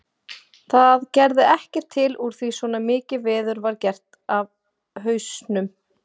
Það gerði ekkert til úr því svona mikið veður var gert af hausnum.